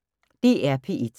DR P1